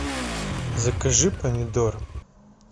закажи помидор